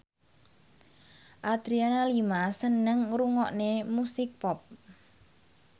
Adriana Lima seneng ngrungokne musik pop